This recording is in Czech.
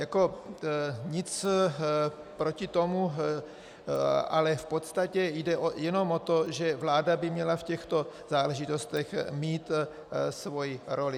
Jako nic proti tomu, ale v podstatě jde jenom o to, že vláda by měla v těchto záležitostech mít svoji roli.